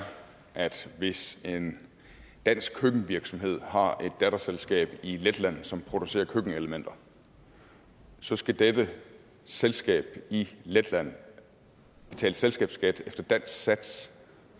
at hvis en dansk køkkenvirksomhed har et datterselskab i letland som producerer køkkenelementer så skal dette selskab i letland betale selskabsskat efter dansk sats